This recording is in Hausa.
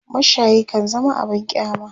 mashayi kan zama abun kyama